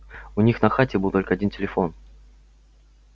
у них на хате был один только телефон